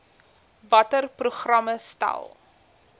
watter programme stel